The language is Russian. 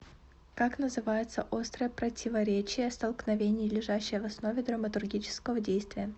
как называется острое противоречие столкновение лежащее в основе драматургического действия